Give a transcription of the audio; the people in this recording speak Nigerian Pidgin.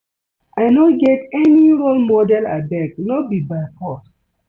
I no get any role model abeg no be by force